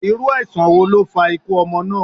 Iru aisan wo lo fa ikú ọmọ na?